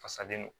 Fasalen don